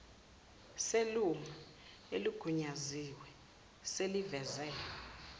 selunga eligunyaziwe seliveze